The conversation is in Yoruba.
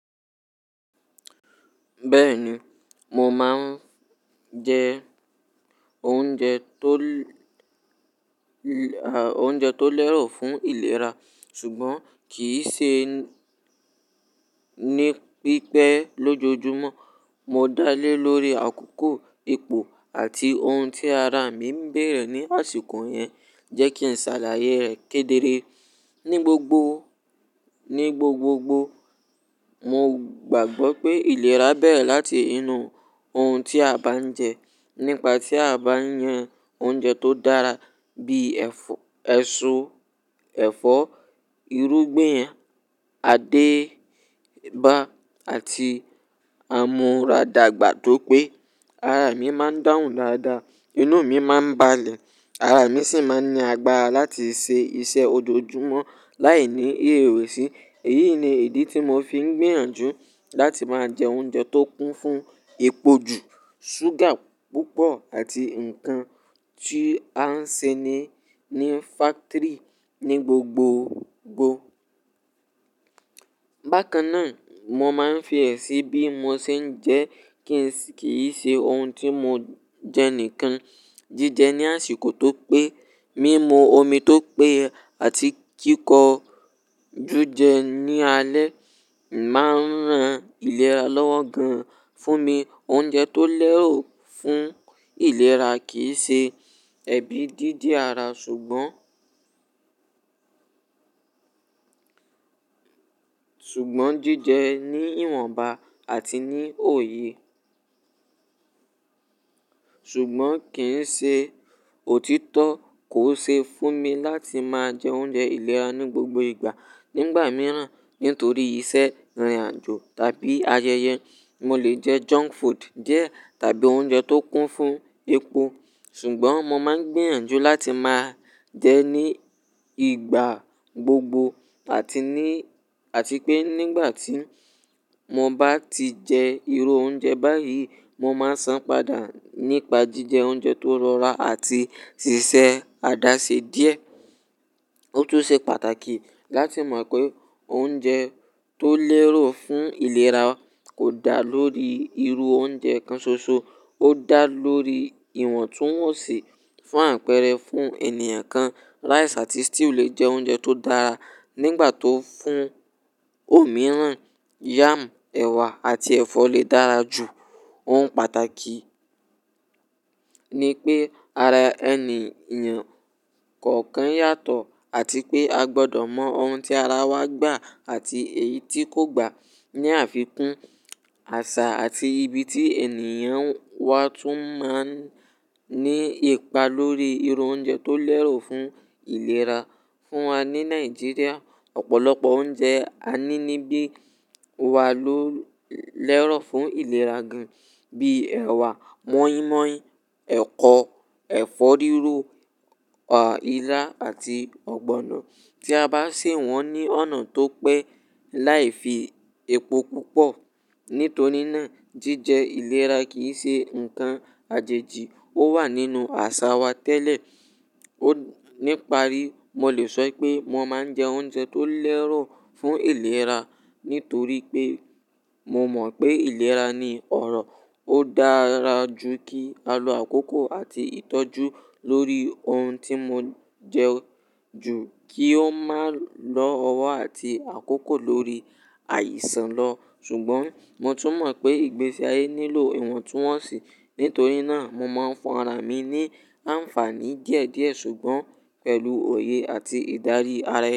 Bẹ́ẹ̀ni, mo máa ń jẹ oúnjẹ tó, oúnjẹ tó lẹ́rù fún ìlera ṣùgbọ́n kì í ṣe ní pípẹ́ lójoojúmọ́. Mo dá lé lórí àkókò, ipo àti ohun tí ara mi ń bere ní àsìkò yẹn jẹ́kí sàlàyé rẹ̀ kedere. Ni gbogbo, ni gbogbogbò, mo gbàgbọ́ pé ìlera bẹ̀rẹ̀ láti inú ohun tí a bá ń jẹ. Nípa tí a bá yan oúnjẹ tó dára bíi ẹ̀fọ́, èso, ẹ̀fọ́, irúgbìn, adeba àti àmúradàgbà tó pé, ara mi máa ń dáhùn dáadáa, inú mi máa ń balẹ̀, ara mi sì máa ń ní agbára láti ṣe iṣẹ́ ojoojúmọ́ láìní ìrèwẹ̀sì. Èyí ni ìdí tí mo fi ń gbiyànjú láti máa jẹ oúnjẹ tó kún fún epo jù, súgà púpọ̀ àti nǹkan tí a ń ṣe ní, ní factory ní gbogboogbò. Bákan náà, mo máa ń fi ẹ̀ sí bí mo ṣe ń jẹ kí n se kì n ṣe ohun tí mo jẹ nìkan. Jíjẹ ní àsìkò tó pé, mímu omi tó pé àti kíko jújẹ ní alẹ́ máa ń ran ìlera lọ́wọ́ gan-an fún mi. Oúnjẹ tó lẹ́rù fún ìlera kì í ṣe ẹbí, dídi ara ṣùgbọ́n, ṣùgbọ́n jíjẹ ní ìwọ̀nba àti ní òye. Ṣùgbọ́n kì ń ṣe òtítọ́ kó ṣe fún mi láti máa jẹ oúnjẹ ìlera ní gbogbo ìgbà. Nígbà mìíràn, nítorí iṣẹ́, ìrìnàjò tàbí ayẹyẹ, mo lè jẹ junk food díẹ̀ tàbí oúnjẹ tó kún fún epo. Ṣùgbọ́n mo máa ń gbèrànjú láti máa jẹ ní ìgbà gbogbo àti ní, àti pé nígbà tí mo bá ti jẹ irú oúnjẹ báyìí, mo máa san padà nípa jíjẹ oúnjẹ tó rọra àti ṣíṣe àdá ṣe díẹ̀. Ó tún ṣe pàtàkì láti mọ̀ pé oúnjẹ tó lẹ́rù fún ìlera kò dá lórí irú oúnjẹ kan ṣoṣo, ó dá lórí ìwọ̀ntúnwọ̀nsì fún àpẹẹrẹ fún ènìyàn kan. Rice àti stew lè jẹ oúnjẹ tó dára nígbà tó fún òmíràn, yam, ẹ̀wà àti ẹ̀fọ́ lè dára jù. Ohun pàtàkì ni pé ara ẹniìyàn kọ̀ọ̀kan yàtọ̀ àti pé a gbọdọ̀ mọ ohun tí ara wa gbà àti èyí tí kò gbà. Ni àfikún, àṣà àti ibi tí ènìyàn wà tún máa ń ní ipa lórí irú oúnjẹ tó lẹ́rù fún ìlera. Fún wa ní Nigeria, ọ̀pọ̀lọpọ̀ oúnjẹ a ní níbí wa ló lẹ́ro fún ìlera gan-an bíi ẹ̀wà, moi moi, ẹ̀kọ, ẹ̀fọ́ píro, ilá àti ọ̀gbọ̀nà. Tí a bá sè wọ́n ní ọ̀nà tó pé láì fi epo púpọ̀. Nítorí náà, jíjẹ ìlera kì í ṣe nǹkan àjèjì, ó wà nínú àṣà wa tẹ́lẹ̀. Ní parí, mo lè sọ pé mo máa ń jẹ oúnjẹ tó lẹ́ro fún ìlera nítorí pé mo mọ̀ pé ìlera ni ọrọ̀. Ó dára jù kí a lo àkókò àti ìtọ́jú lórí ohun tí mo jẹ ju kí ó máa lọ ọwọ́ àti àkókò lórí àìsàn lọ. Ṣùgbọ́n mo tún mọ̀ pé ìgbésí ayé nílò ìwọ̀ntúnwọ̀nsì, nítorí náà mo máa ń fún ara mi ní àǹfààní díẹ̀díẹ̀ ṣùgbọ́n pẹ̀lú òye àti ìdarí ara ẹni.